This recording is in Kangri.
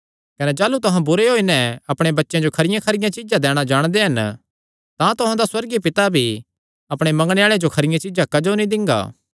कने जाह़लू तुहां बुरे होई नैं अपणे बच्चेयां जो खरियां चीज्जां दैणा जाणदे हन तां तुहां दा सुअर्गीय पिता भी अपणे मंगणे आल़ेआं जो खरियां चीज्जां क्जो नीं दिंगा